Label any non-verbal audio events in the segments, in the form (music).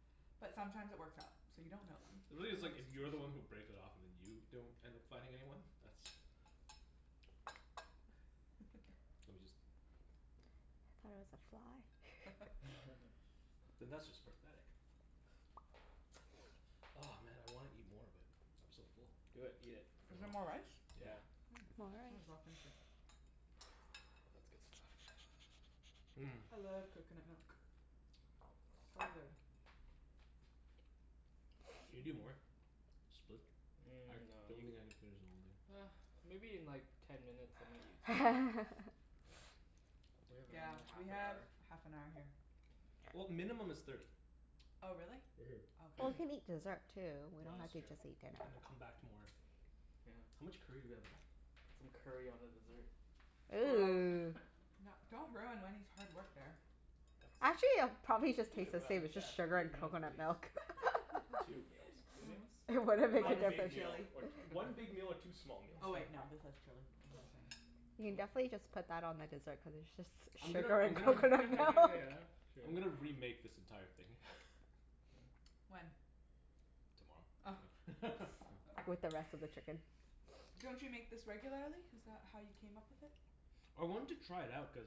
But sometimes it works out. So you don't know then. (noise) (noise) Really it's like, if you're the one who breaks it off and then you don't end up finding anyone? That's (laughs) (noise) Let me just Thought it was a fly. (laughs) (laughs) (laughs) then that's just pathetic. Oh man, I wanna eat more but I'm so full. Do it. Eat it. Is No. there more rice? Yeah. Yeah. Mm, More might as well rice. finish it. That's good stuff. (noise) (noise) Mmm. (noise) I love coconut milk. (noise) So good. Can (noise) you do more? (noise) (noise) Split? (noise) (noise) I Mm, no don't you, think I can finish the whole thing. ah, maybe in like (noise) ten minutes I might eat something. (laughs) (noise) (noise) We have Yeah, another half we an have hour. (noise) half an hour here. (noise) Yeah. (noise) Well, minimum is thirty. Oh, really? Mhm. Oh, (noise) okay. Well, we can eat dessert, too. We No, don't have that's to true. just eat dinner. (noise) And then come back to more. Yeah. How much curry do we have left? Put some curry on the dessert. Gross. Ooh. No, (laughs) don't ruin Wenny's hard work there. That's, Actually it'll probably Decent just taste the meal. same. It's yeah, just two, sugar three and meals at coconut least. milk. (laughs) Yep. (laughs) Two meals. Two Yeah. meals? It wouldn't Well, make a one Minus the big difference. meal, (inaudible) chili. or (laughs) one big meal or two small Oh meals. wait, no, this has chili. What am I saying? You can What? definitely just put that on the dessert cuz it's just I'm gonna sugar I'm and gonna (laughs) coconut milk. Yeah, true. I'm gonna remake this entire thing. (laughs) (noise) (noise) When? Tomorrow. Oh. (laughs) No. (laughs) With the rest of the chicken. Don't (noise) you make this regularly? Is that how you came up with it? (noise) I wanted to try it out cuz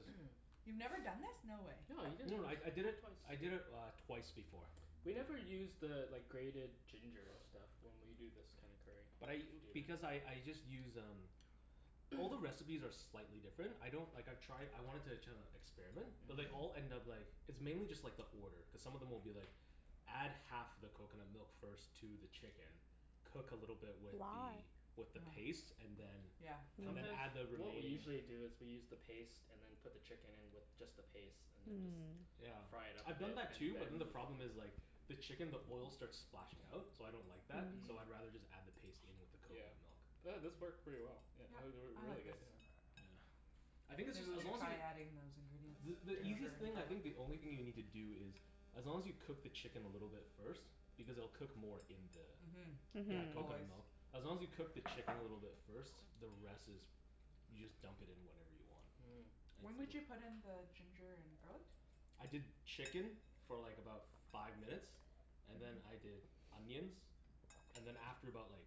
You've never done (noise) this? No way. No, you did it, No no, I I you did did it, it twice. I did it uh twice before. We never use the like grated (noise) ginger stuff (noise) when we do this kinda curry. But I, Do because that. I I just use um All the (noise) recipes are slightly different. I don't, like I've tried, I wanted to kinda experiment. (noise) But they all Mhm. Mhm. end up like It's mainly just like the order, cuz some of them will be like Add half the coconut milk first to the chicken cook a little bit with Why? the (noise) with the paste and then Yeah. Yeah. and then Mm. Sometimes, add the what we remaining usually do is we use the paste and then put the chicken in with just the paste and then just Mm. Yeah, fry it up a I've bit done that and too but then then the the (inaudible) problem is like the chicken, the oil starts splashing out. So I don't like that. Mm. So Mhm. I'd rather just add the paste in with the Yeah. coconut milk. But this Hmm. worked pretty well, yeah Yep, or or I really like this. good, yeah. Yeah. I think this Maybe is, we as should long as try y- adding those ingredients. The the easiest Yeah. Ginger and thing I garlic. think, the only thing you need to do is as long as you cook the chicken a little bit first because it'll cook more in the Mhm. in Yeah, the Mhm. always. coconut milk. (noise) As long as you cook the chicken a little (noise) bit first, the rest is you just dump it in whenever you want. Mm. (noise) It's When w- would you put in the ginger and garlic? I did chicken for like about five minutes and then Mhm. I did onions. And then after about like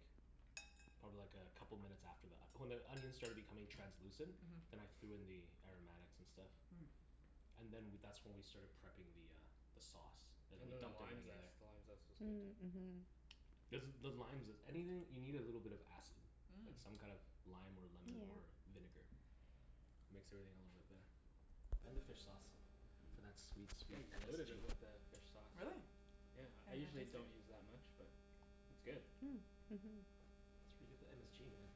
probably like a couple minutes after that. When the onions started becoming translucent. Mhm. Then I threw in the aromatics and stuff. (noise) Mm. (noise) And then w- that's when we started prepping the uh the sauce. And then And we then the dumped lime everything in there. zest. The lime zest was good, too. Mm. Mhm. Cuz the limes is, (noise) anything, you need a little bit of acid. Mm. Like some kind of lime or Yeah. lemon or vinegar. Makes everything a little bit better. And the fish sauce. Mhm. For that sweet, Yeah, sweet you loaded MSG. it with the fish sauce. Really? Yeah, I Can't even usually taste it. don't use that much but it's good. Mm. Mhm. That's where you get the MSG, man.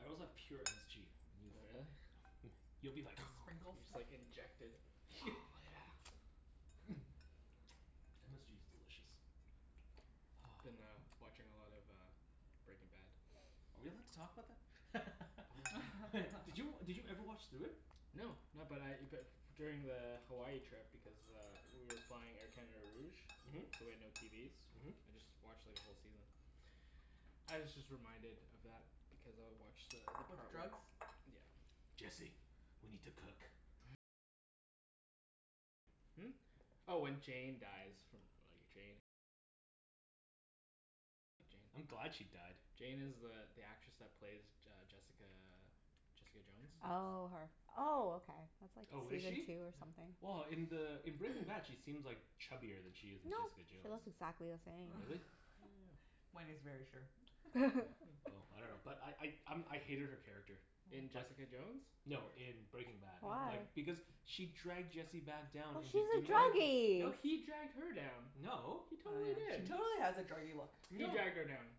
I also have pure MSG if Oh, yo- really? (laughs) Hmm, you'll be The like sprinkle You just stuff? like (noise) inject it. Oh yeah. (laughs) (laughs) MSG is delicious. Been uh (noise) watching a lot of uh (noise) Breaking Bad. (noise) Are we allowed to talk about that? I dunno. (laughs) Did you, did you (laughs) ever watch through it? No. No, but I but f- during the Hawaii trip because uh we were flying Air Canada Rouge Mhm. so we had no TVs. Mhm. I just watched like a whole season. I was just reminded of that because I watched the the With part where drugs? Yeah. (noise) (noise) Jesse. We need to cook. I'm glad she died. Jane is the the actress that plays J- uh, Jessica Jessica Jones? (noise) Oh, her. Oh, okay. That's like Oh, is season she? two or Yeah. something. Well, in the in Breaking Bad (noise) she seems like chubbier than she is in No. Jessica She Jones. looks exactly the (noise) same. Really? Yeah. (laughs) (laughs) Wenny's very sure. Oh, (noise) I (laughs) dunno. But (laughs) I I um I hated her character. In Oh. Just, Jessica Jones, no, or in Breaking Bad. Why? Like, Oh. because she (noise) dragged Jesse back down Well into she's a doing No. meth. No, druggie. he dragged her down. No. He Oh, totally yeah. She did. totally has a druggie look. He No. dragged her down.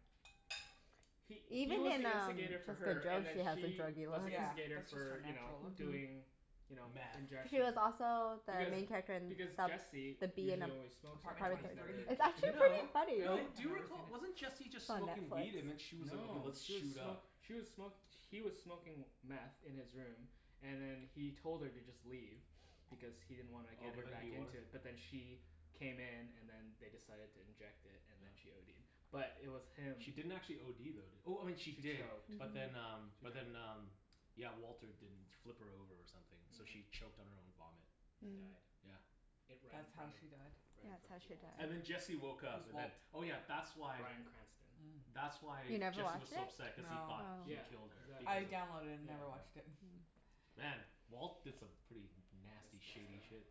He he Even was in the um instigator for Jessica her, and Jones then she has a she druggie was look. the Yeah, instigator that's just her for you know, natural look. Mhm. doing you know, Meth. She was injection. also the Because main character in the because Jesse The B in usually Ap- only smokes it, Apartment right? Apartment twenty He's three? never Thirteen. It's injected actually it pretty before? No. funny. No. Really? Do I've you never seen recall, it. wasn't Jesse It's just on smoking weed and then Netflix. she was like, "Okay, No. let's She was shoot smo- up." she was smo- he was smoking meth in his room and then he told her to just leave. Because he didn't wanna Oh, get but her then back he wanted into it. But then she came in and then they decided to inject it, and then she ODed. But it was him She didn't actually OD though, did, oh, she She did. choked. She But then Mhm. um but did. then um yeah, Walter didn't flip her over or something, so Mhm. she choked on her own vomit. And Mm. died. Yeah. It, right in That's how front of, she died? right in That's front how of she Walt. died. And then Jesse woke Who's up and then, Walt? oh yeah, that's why Brian Cranston. Mm. that's You why never Jesse was watched so it? upset cuz he No. thought Oh. he Yeah, killed her, exactly. I because of, downloaded it and Yeah. yeah. never watched it. (laughs) Mm. Man, Walt did some pretty nasty Messed shady up stuff. shit.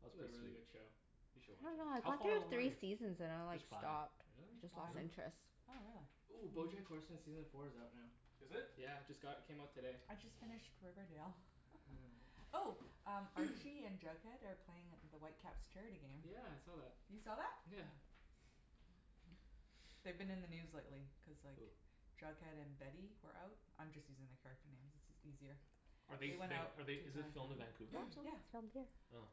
That It's was a pretty really sweet. good show. You I should watch dunno, it. I How got far through along are three you? seasons and I like There's five. stopped. Really? Just Why? lost Really? interest. Oh, really? Ooh, Bojack Horseman season four is out now. Is it? Yeah, just got, it came out today. I just finished Riverdale. (laughs) (laughs) Oh, (noise) Archie and Jughead are playing at the Whitecaps charity game. Yeah, I saw that. You saw that? Yeah. Yeah. They've been in the news lately cuz like Who? Jughead and Betty were out. I'm just using the character names. It's is easier. (noise) Are they They went out be- to are they, is it filmed in (inaudible) Vancouver, or That show, (noise) something? Yeah. it's filmed here. Oh.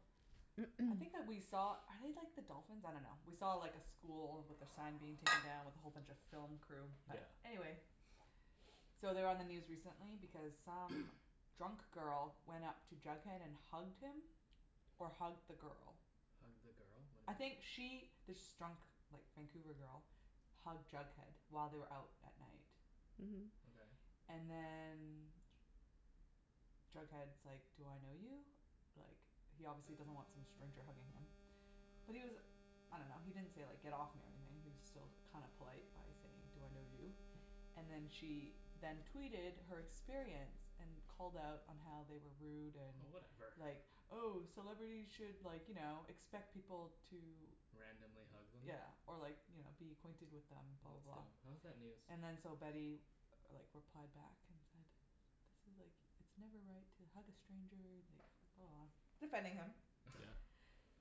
I think that we saw, (noise) are they like the dolphins? I dunno. We saw like a school with their sign being taken down with a whole bunch of film crew. But, Yeah. anyway So they were on the news recently because some (noise) drunk girl went up to Jughead and hugged him or hugged the girl. Hugged the girl? What I do you mean? think she this drunk like Vancouver girl hugged Jughead while they were out at night. Mhm. Okay. And then Jughead's like, "Do I know you?" Like, he obviously doesn't want some stranger hugging him. But he was I dunno, he didn't say like, "Get off me," or anything. He was still kinda polite by saying, "Do I know you?" And then she then tweeted her experience. And called out on how they were rude and Oh, whatever. (noise) like, "Oh, celebrities should like, you know, expect people to" Randomly hug them? yeah, or like you know, "be acquainted with them," blah, That's blah, dumb. blah. How is that (noise) news? And then so Betty like replied back and said "This is like, it's never right to hug a stranger," and like blah, blah, blah. Defending him. Yeah.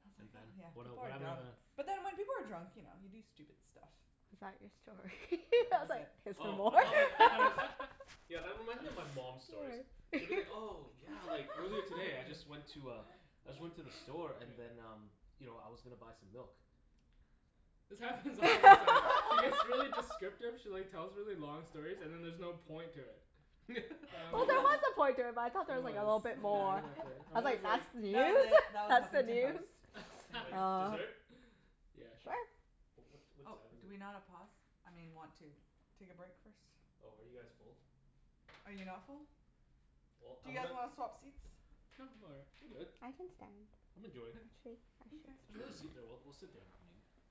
I was And like then? huh, yeah, What el- people what are happened dumb. after that? But then when people are drunk, you know, you do stupid stuff. Is that your story? (laughs) Yeah. I That was was like, it. "Is there Oh, more?" I (laughs) All thought like, I thought it was right. Yeah, that reminds me of my mom's (laughs) stories. She'll be like, "Oh, (laughs) yeah, like earlier today I just went to a (laughs) I just went to the store and then um you know, I was gonna buy some milk." This happens all the time. She gets really (laughs) descriptive she like tells really long stories, and then there's no point to it. And (laughs) I'm Well, always there was a (laughs) point to it but I thought there There was like a was. little (laughs) bit Yeah, more. exactly. Yeah. I I'm was always like, like "That's That was news? it. That was That's the Huffington news?" Post. Yeah. Thank Like, you. (laughs) Oh. dessert? Yeah, sure. Sure. Oh, what what Oh, time is do it? we not a pause? I mean want to take a break first? Oh, are you guys full? Are you not full? Well, Do I you guys wanna wanna swap seats? No, I'm all right. I'm good. I can stand. I'm Actually, enjoying it. Mkay. There's I another should stand. seat there. (noise) We'll we'll sit down (inaudible)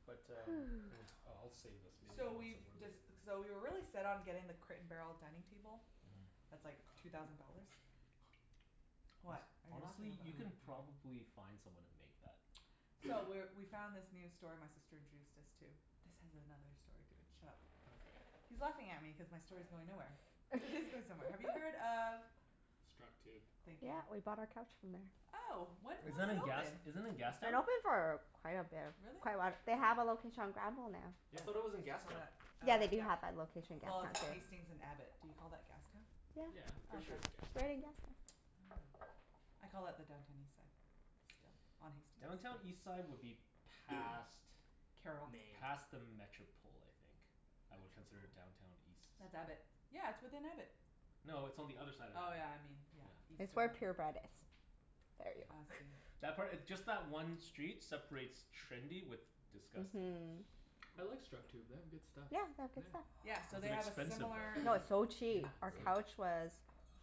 But um, hmm, Ooh. uh I'll save this. Maybe So I'll have we've some more later. dec- so we were really set on getting the Crate and Barrel dining table. Mhm. That's like two thousand dollars. (noise) Hone- What are you laughing honestly? about? You can (inaudible) probably find someone to make that. So, (noise) we're we found this new store my sister introduced us to. This has another story to it. Shut up. Okay. He's laughing at me cuz my story's going nowhere. But it is going somewhere. Have you heard (laughs) of Structube. Thank you. Yeah, we bought our couch from there. Oh, when Is was that it in gas, open? is that in It's Gastown? been open for quite a bit. Really? Quite a while. They have a Yeah. location on Granville now. I thought it was Yeah. in I saw Gastown. that, Yeah, uh, they do yeah. have that location in Well, Gastown it's too. Hmm. Hastings and Abbott. Do you call that Gastown? Yeah. Yeah. Oh, Pretty sure okay. it's Gastown. Right in Gastown. Oh. I call it the Downtown Eastside, still, on Hastings. Downtown Eastside would be (noise) past Carrall. Main. past the Metropol, I think. I would consider Metropol? Downtown East- That's Abbott. Yeah, it's within Abbott. No, it's on the other side of Oh Abbott. yeah, I mean, yeah. Yeah. East It's of where that. Pure Bread is. Yeah. There ya I go. see. (noise) That part, just that one street separates trendy with disgusting. Mhm. I like Structube. They have good stuff. Yeah, they have good stuff. Yeah. Yeah, so Was they it have a expensive, similar though? No, (noise) it's so Yeah, cheap. Our it's like Really? couch was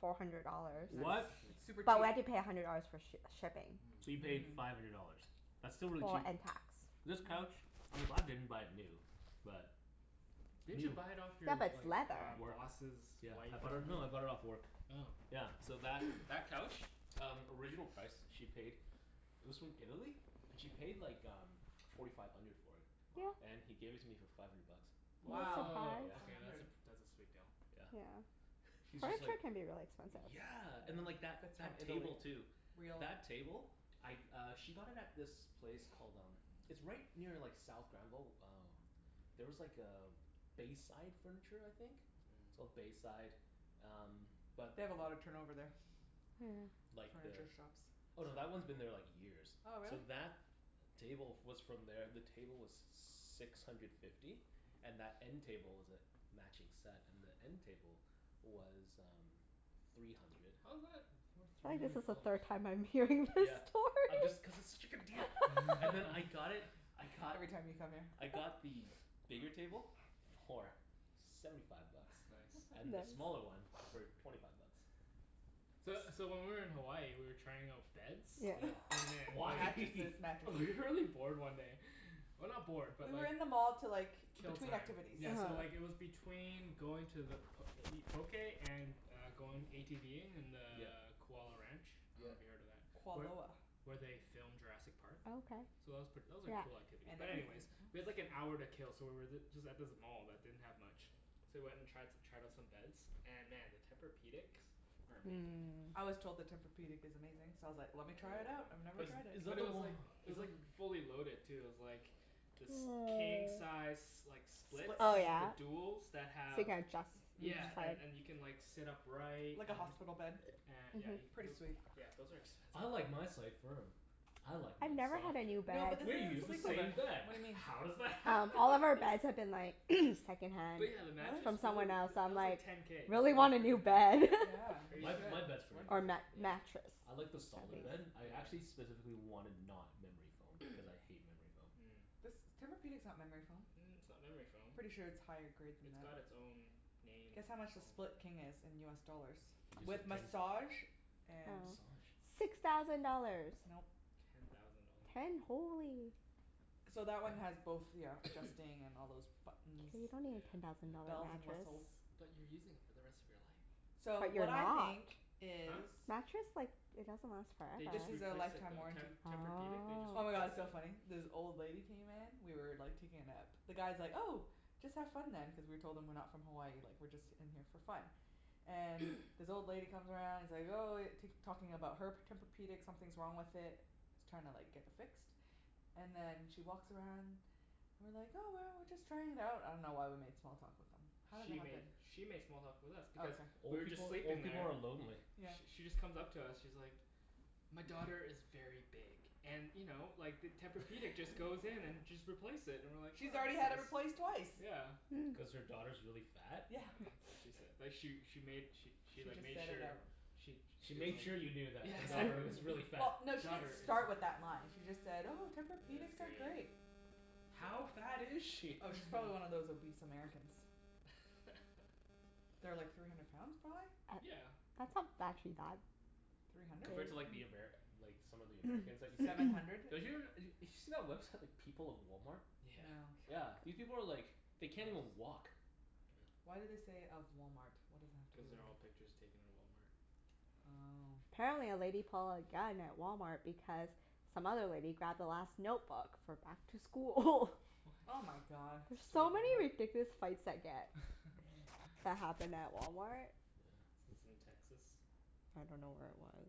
four hundred dollars. Yeah, Nice. they're What? cheap. It's super But cheap. we had to pay a hundred dollars for sh- shipping. So you Mm. paid Mhm. five hundred dollars? That's still really Well, cheap. and tax. Yeah. This couch, I'm glad I didn't buy it new. But Didn't you new buy it off Yeah, your but it's like leather. Work. boss's Yeah. I wife or bought it, no, I bought it off something? work. Oh. Yeah, so that (noise) that couch? Um, original price she paid it was from Italy and she paid like um forty five hundred for it. Wow. Yeah. And he gave it to me for five hundred bucks. Nice Wow. Woah, surprise. Yeah. Five okay that's hundred. a pr- that's a sweet deal. Yeah. Yeah. He was just like, Furniture can be really expensive. yeah and then Mhm. like that If it's from that Italy. table, too. Real. That table? I uh she got it at this place called um it's right near like South Granville. Oh there was like a Bayside Furniture, I think? It's Mm. called Bayside, um but They have a lot of turnover there. Yeah. Like the, Furniture shops. oh, no, that one's been there (inaudible) like years. Oh, really? So that table f- was from there. The table was six hundred fifty. And that end table was a matching set. And the end table was um three hundred. How's that worth I three think this hundred is the dollars? third time I'm hearing this Yeah. I'm story. just, cuz it's such a good deal! And then I (laughs) got it, (laughs) I got Every time you come here. I got the bigger table for seventy five bucks. It's nice. And the Nice. (laughs) smaller one for (noise) twenty five bucks. So so when we were in Hawaii we were trying out beds Yeah. and then Why? (laughs) (laughs) Mattresses. Mattresses. We were really bored one day. Well, not bored, but We were like in the mall to like, Kill between time. activities. Yeah, Yeah. so uh-huh. like it was between going to the p- to eat poké and uh going ATVing in the Yeah. Kualoa Ranch. I Yeah. dunno if you've heard of that? Where Kualoa. where they filmed Jurassic Park. Oh, okay. So that was pret- that was a Yeah. cool activity, And but anyways we had like an everything hour to else. (noise) kill so we were th- just at this mall that didn't have much. So we went and tri- tried out some beds. And man, the Tempur-pedics are amazing. Mmm. I was told the Tempur-pedic is amazing, so I was like, I "Let me really try want it out. one. I've never Is But tried it." is that but it the was o- like, it is was that like fully loaded, too. It was like this king (noise) size s- like split Split Oh King. the yeah? duals that So you have can adjust Mhm. each Yeah, and side. and you can like sit upright and Like a hospital (noise) bed. a- yeah Mhm. you Pretty sweet. c- those are (noise) expensive, "I like though. my side firm." "I like I've mine never had softer." a new No bed. but this We use isn't the Sleep Number. same bed. What do you mean? How does that Um, happen? all of our beds have (laughs) been (laughs) like (noise) second hand But yeah the Really? mattress, from holy, someone else, so that I'm was like like ten k, just really for a want a new frickin' bed. mattress. Yeah, (laughs) you Crazy. My my should. bed's It's pretty worth Or it. amazing. mat- Yeah? mattress. I like the That piece. solid bed. Yeah. I actually Yeah. specifically wanted not memory foam, cuz I hate memory foam. Mm. This, Tempur-pedic's not memory foam. Mm, it's not memory foam. Pretty sure it's higher grade than It's got that. it's own named Guess how much the foam. Split King is in US dollars? He just said With ten massage and Oh. Massage? Six thousand dollars! Nope. Ten thousand dollars. Ten? Holy. So that one has (noise) both, ya know, (noise) adjusting, and all those K, buttons. you don't need Yeah. a ten thousand dollar Yeah. Bells and mattress. whistles. But you're using it for the rest of your life. So, But you're what I not. think is Huh? Mattress like, it doesn't last They This forever. just is a replaced it, lifetime though. Te- warranty. Tempur-pedic, they just Oh Oh. my god, it's replaced so funny. it. This old lady came in we were like taking a nap. The guy's like, "Oh, just have fun then" cuz we told him we're not from Hawaii. Like we're just in here for fun. And (noise) this old lady comes around and is like, "Oh," tak- talking about her p- Tempur-pedic. Something's wrong with it. She's trying like to get it fixed. And then she walks around and we're like, "Oh, well, we're just trying it out." I dunno why we made small talk with them. How did that She happen? made she made small talk with us Oh, because okay. we Old were just people, sleeping old people there are lonely. Yeah. Sh- she just comes up to us. She's like "My daughter is very big and you know, like the Tempur-pedic just (laughs) goes in and just replace it." And we're like, She's "Oh, that's already had it nice." replaced twice. Yeah. Mm. Cuz her daughter's really fat? Yeah, Yeah. (noise) that's what she said. (laughs) But she she made she she She like just made said it sure out she She she was made like, sure you knew that yeah, her daughter Yeah. exactly. was really fat. Well, no, she didn't Daughter is start with that line. She just said, "Oh, It's Tempur-pedics are great. great." How fat is Yeah. she? Oh, she's probably one of those (laughs) obese Americans. (laughs) They're like three hundred pounds, prolly? A- Yeah. that's not actually bad. Three hundred? Compared to like the (inaudible) Amer- like some of the Americans that you see? Seven (noise) hundred. They're us- d- did you see that website People of Walmart? Yeah. Yeah. Yeah. These people are like, they can't even walk. (noise) Why do they say, "of Walmart?" What does that have to do Cuz they're with all it? pictures taken in Walmart. Oh. Apparently a lady pulled a gun at Walmart because some other lady grabbed the last notebook for back to school. (laughs) Oh my What? god. There's Stupid so many Walmart. ridiculous fights that get Mhm. that (laughs) happen at Walmart. Yeah. This is in Texas? I don't know where it was.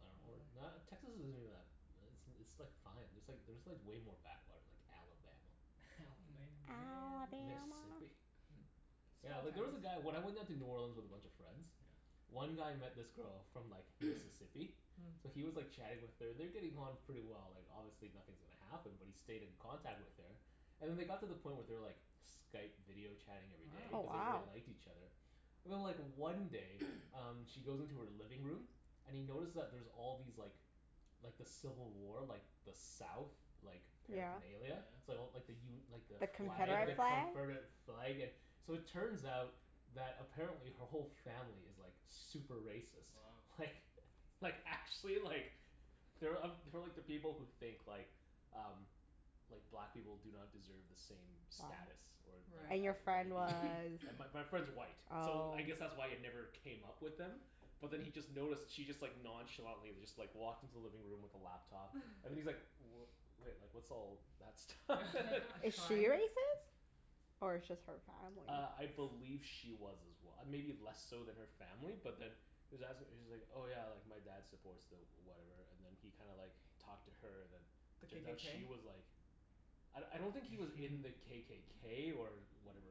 I dunno. Or not, Texas isn't even that, it's it's like fine. There's like there's like way more backwater, like Alabama. (laughs) Alabama Mm. man. Alabama. Mississippi. (laughs) Yeah, Small like there was towns. a guy, when I went down to New Orleans with a bunch of friends Yeah. one guy met this girl from like (noise) Mississippi. Mm. So Mm. he was like chatting with her. And they're getting on pretty well. Like, obviously nothing's gonna happen, but he stayed in contact with her. And then they got to the point where they were like Skype video chatting every day Oh, cuz they Wow. wow. really liked each other. And then like one day (noise) um she goes into her living room and he notices that there's all these like like the civil war, like the south like Yeah. Oh yeah? paraphernalia. So like the u- like the The flag, the Confederate Confederate. flag? confederate flag and So it turns out that apparently her whole family is like super racist. Wow. Like, like actually like they're uh they're like the people who think like um like black people do not deserve the same Wow. status. Or or And your as Right. friend white was people. And my (noise) my friend's white, so Oh. I guess that's why it never came up with them but then he just noticed she just like nonchalantly just like walked into the living room with the laptop (laughs) and he's like, "W- wait, like what's all that stuff?" (laughs) A (laughs) Is she shrine. racist? Or it's just her family? Uh, I believe she was as well. Maybe less so than her family but then he was as- she's like, "Oh yeah, like my dad supports the whatever," and then he kinda like talked to her and then The turns out KKK? she was like I I don't think he was in the (laughs) KKK or whatever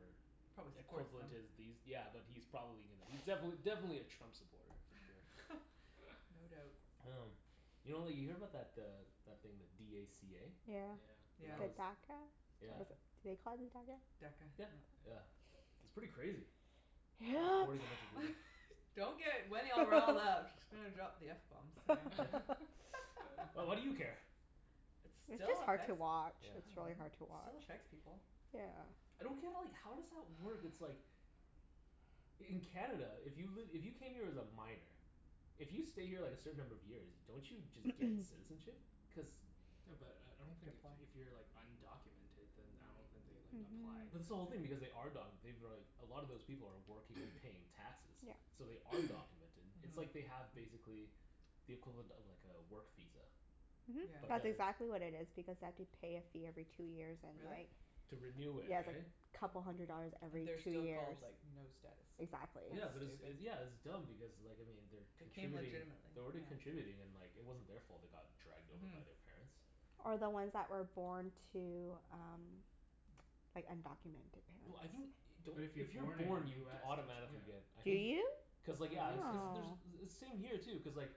Probably supports them. equivalent is these, yeah but he's probably gonna, he's (noise) (noise) defin- definitely a Trump supporter, for sure. (laughs) (laughs) No doubt. Um, you know like you hear about that uh that thing, the d a c a? Yeah, Yeah. But Yeah. the that DACA? was, yeah. Was (inaudible) it, do they call it DACA? DACA, Yeah. yeah. Yeah. It's pretty crazy. Yep. (noise) Deporting a bunch of people. (laughs) Don't get Wenny all riled up. (laughs) She's gonna drop the f bomb soon. (laughs) (laughs) (laughs) (noise) Well, what do you care? It It's still just hard to affects, watch. I Yeah. It's really dunno. hard to It still watch. affects people. Yeah. I don't get like, how does that work? It's like In Canada, if you've li- if you came here as a minor if you stay here like a certain number of years, don't you just get (noise) citizenship? Cuz Yeah, but I I You don't have to think if apply. if you're like undocumented then I don't think they like applied Mhm. or But this whole thing, anything. because they are documented. They've been like, a lot of those people are working, they're (noise) paying taxes. Yeah. So they are (noise) documented. It's like Mhm. they have, basically the equivalent of like a work visa. Mhm. Yeah. But That's then exactly what it is because they have to pay a fee every two years and Really? like To renew it, Yeah, it's like right? couple hundred dollars Mm. And every they're two still years. called, like, no status. Exactly. Yeah That's but it's stupid. it, yeah it's dumb because like I mean, they're They came contributing legitimately. they're already contributing and like it wasn't their fault they got dragged over Mhm. by their parents. Or the Mm. ones that were born to um (noise) like undocumented No, I think, parents. don't, But if you're if you're born in born you US don't y- automatically get yeah. I Do think you? I cuz like would yeah. think Cuz so. Oh. there's, same here too, cuz like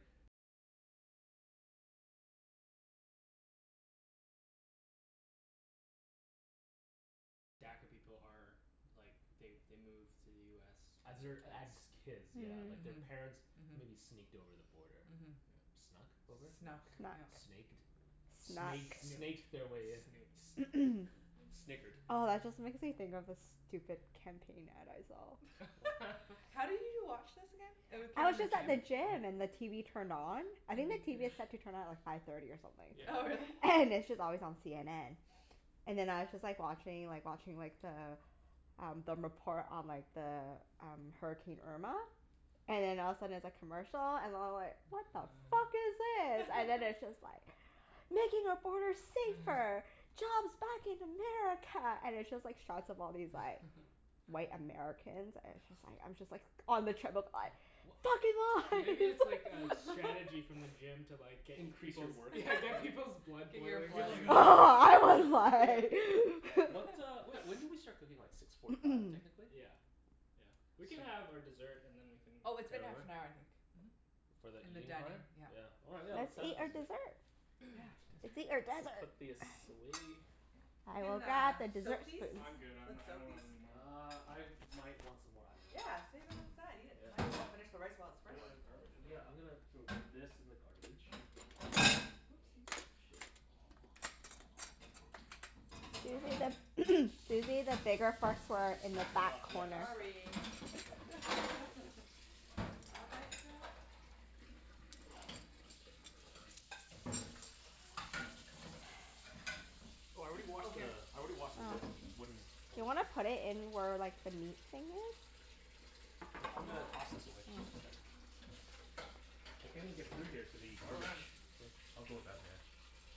As their, as kids, yeah. Like, Hmm. their Yeah. Mhm. parents maybe Mhm. sneaked over the border. Mhm. Yeah. Snuck over? Snuck. Snuck, Snuck. yeah. Snaked? Snuck. Snake Snooked. snaked their way in. S- Snooked. (noise) (noise) snickered. Oh, that just makes me think of this stupid campaign ad I saw. What? (laughs) (laughs) How do you watch this again? It w- came I in was the just At at the the gym? gym. gym and the TV turned on. I think And the you couldn't TV is set to turn on at like five thirty or something. Oh, really? Yeah. And it's just always on CNN. And then I was just like watching like watching like the um the report on like the um, Hurricane Irma. And then all of a sudden it's a commercial, and I'm like "What the fuck (laughs) is this?" And then (noise) it's (laughs) just like "Making our borders safer!" (laughs) "Jobs back in America!" And it's just like shots of all these like (laughs) white Americans and it's just like, I'm just like on the treadmill like (noise) W- "Fucking Maybe it's (laughs) like a lies!" strategy (laughs) from the (laughs) gym to like get y- Increase your people's workout, Yeah, (laughs) yeah. get people's blood Get your boiling You're blood like (inaudible) (laughs) I was (noise) Yeah. like (laughs) What uh, wh- (noise) when (laughs) did we start cooking? Like six forty five (noise) technically? Yeah. Yeah. We can So have our dessert and then we can Oh, it's been Head half over? an hour, I think. Mhm. For the And the eating dining, part? yeah. Yeah, all right let's Let's eat our (inaudible) dessert. (noise) Yeah, Let's eat our Dessert. desserts. We'll desert. put this away. We I will can grab uh the dessert soak these? spoons. I'm good. I'm n- Let's I soak don't these. want anymore. Uh, I might want some more. I dunno. Yeah, save it on the side. Eat it. Yeah. Might as well finish the rice while it's Is fresh. Hold there on. a garbage for Yeah, that? I'm gonna throw this in the garbage. Whoopsies. Oh shit. Susie the (noise) Susie, the bigger forks were Just in the stack 'em back up. Yeah, corner. just stack Sorry. (laughs) Yeah, yeah. (inaudible) I messed up. Oh, I already Oh, washed the, here. I already washed the Oh. wood Do wooden board. you wanna put it in where like the meat thing is? Yeah, I'm gonna Hmm? toss this away. Yeah. (inaudible) I can't even get through here to the Go garbage. around. I'll go around there.